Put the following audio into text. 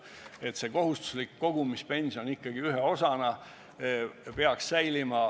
Kohustuslik kogumispension ikkagi ühe osana peaks säilima.